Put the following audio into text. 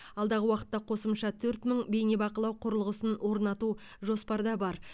алдағы уақытта қосымша төрт мың бейнебақылау құрылғысын орнату жоспарда бар